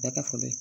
Bɛɛ ka falen